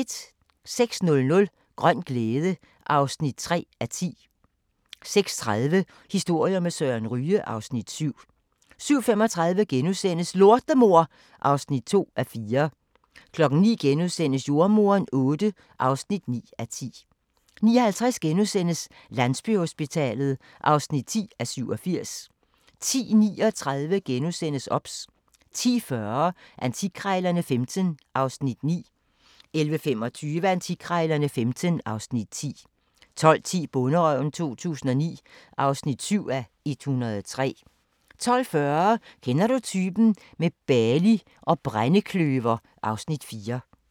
06:00: Grøn glæde (3:10) 06:30: Historier med Søren Ryge (Afs. 7) 07:35: Lortemor (2:4)* 09:00: Jordemoderen VIII (9:10)* 09:50: Landsbyhospitalet (10:87)* 10:39: OBS * 10:40: Antikkrejlerne XV (Afs. 9) 11:25: Antikkrejlerne XV (Afs. 10) 12:10: Bonderøven 2009 (7:103) 12:40: Kender du typen? – med Bali og brændekløver (Afs. 4)